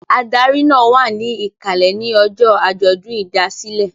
Adarí náà wà ní ìkàlẹ̀ ní ọjọ́ àjọ̀dún ìdásílẹ̀.